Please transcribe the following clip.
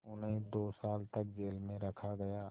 उन्हें दो साल तक जेल में रखा गया